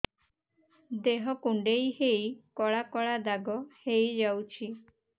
ଦେହ କୁଣ୍ଡେଇ ହେଇ କଳା କଳା ଦାଗ ହେଇଯାଉଛି